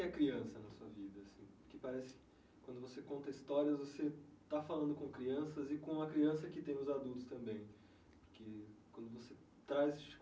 é criança na sua vida assim Porque parece que quando você conta histórias, você está falando com crianças e com a criança que tem os adultos também quando você traz.